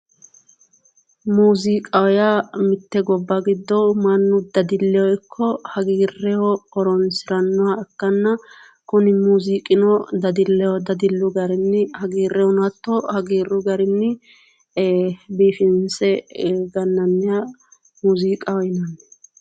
Muziiqaho yaa mitte gobba gido mannu dadilleho iko hagiirreho horoonsirannoha ikanna kuni muziiqino dadilleho dadillu garinni hagiirreho hagiirru garinni ee biifinse gananniha muziiqaho yinanni